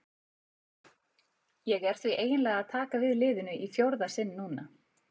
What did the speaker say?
Ég er því eiginlega að taka við liðinu í fjórða sinn núna.